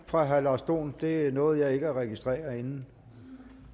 fra herre lars dohn det nåede jeg ikke at registrere inden